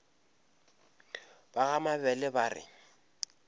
ba ga mabele ba re